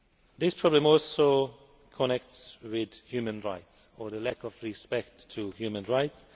This problem also connects with human rights, or the lack of respect for human rights.